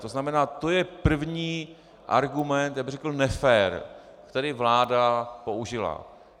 To znamená, to je první argument, já bych řekl nefér, který vláda použila.